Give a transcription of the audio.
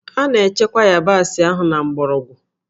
A na-echekwa yabasị ahụ na mgbọrọgwụ